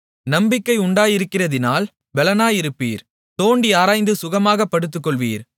நம்பிக்கை உண்டாயிருக்கிறதினால் பெலனாயிருப்பீர் தோண்டி ஆராய்ந்து சுகமாகப் படுத்துக்கொள்வீர்